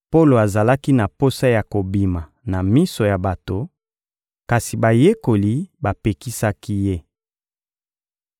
Polo azalaki na posa ya kobima na miso ya bato, kasi bayekoli bapekisaki ye.